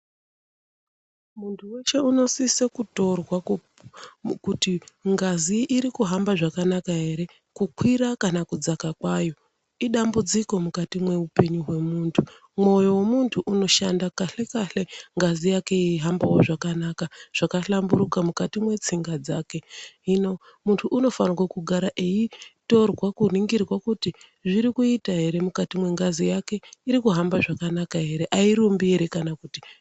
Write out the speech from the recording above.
Muntu weshe unosise kutorwa kuti ngazi irikuhamba zvakanaka here, kukwira kana kudzaka kwayo, idambudziko mukati meupenyu hwemuntu. Mwoyo wemuntu unoshande kahle-kahle, ngazi yakewo yeihambe zvakanaka, zvakahlamburuka mukati mwetsinga dzake. Hino, muntu unofanirwa kugara eitorwe kuningirwe kuti zvirikuita here mukati mwengazi, irikuhamba zvakanaka here, airumbi here kana kuti.